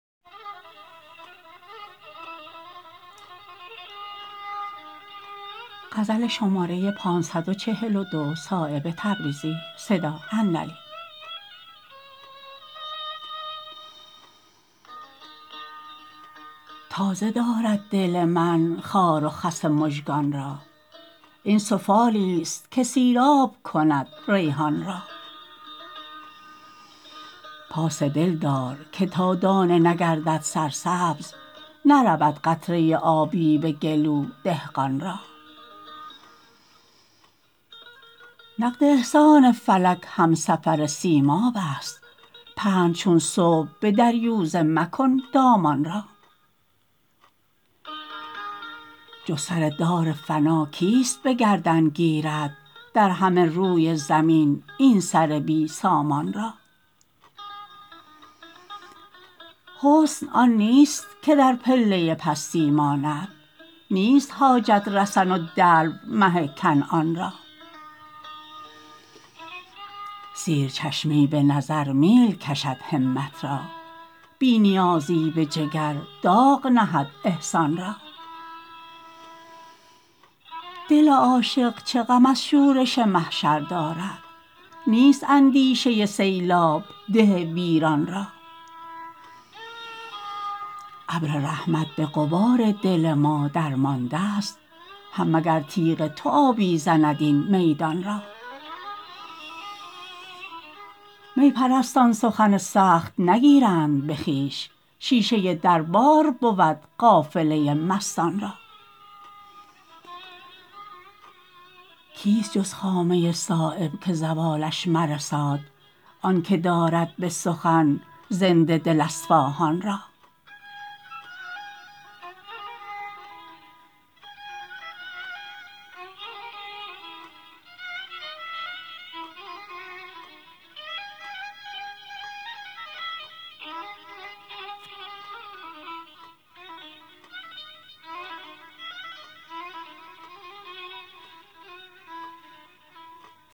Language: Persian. تازه دارد دل من خار و خس مژگان را این سفالی است که سیراب کند ریحان را پاس دل دار که تا دانه نگردد سرسبز نرود قطره آبی به گلو دهقان را نقد احسان فلک همسفر سیماب است پهن چون صبح به دریوزه مکن دامان را جز سر دار فنا کیست به گردن گیرد در همه روی زمین این سر بی سامان را حسن آن نیست که در پله پستی ماند نیست حاجت رسن و دلو مه کنعان را سیر چشمی به نظر میل کشد همت را بی نیازی به جگر داغ نهد احسان را دل عاشق چه غم از شورش محشر دارد نیست اندیشه سیلاب ده ویران را ابر رحمت به غبار دل ما درمانده است هم مگر تیغ تو آبی زند این میدان را می پرستان سخن نگیرند به خویش شیشه دربار بود قافله مستان را کیست جز خامه صایب که زوالش مرساد آن که دارد به سخن زنده دل اصفاهان را